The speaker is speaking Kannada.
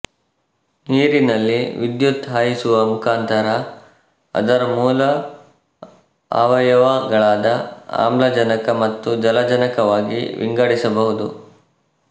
ನೀರಿನಲ್ಲಿ ವಿದ್ಯುತ್ ಹಾಯಿಸುವ ಮುಖಾಂತರ ಅದರ ಮೂಲ ಆವಯವಗಳಾದ ಆಮ್ಲಜನಕ ಮತ್ತು ಜಲಜನಕವಾಗಿ ವಿಂಗಡಿಸಬಹುದು